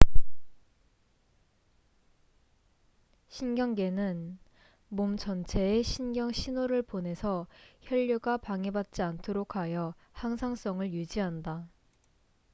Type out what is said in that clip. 신경계는 몸 전체에 신경 신호를 보내서 혈류가 방해받지 않도록 하여 항상성을 유지한다